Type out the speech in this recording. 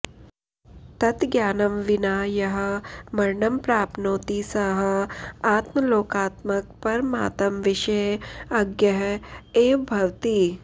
तत् ज्ञानं विना यः मरणं प्राप्नोति सः आत्मलोकात्मकपरमात्मविषये अज्ञः एव भवति